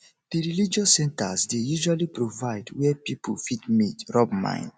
di religious centers dey usually provide where pipo fit meet rub mind